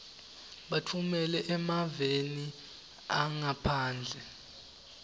batfumela emaveni angaphandle